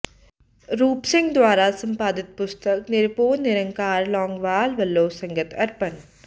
ਰੂਪ ਸਿੰਘ ਦੁਆਰਾ ਸੰਪਾਦਿਤ ਪੁਸਤਕ ਨਿਰਭਉ ਨਿਰੰਕਾਰ ਲੌਂਗੋਵਾਲ ਵਲੋਂ ਸੰਗਤ ਅਰਪਣ